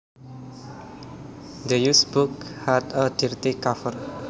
The used book had a dirty cover